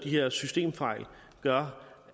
her systemfejl gør